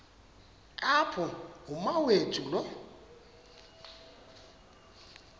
apho umawethu lo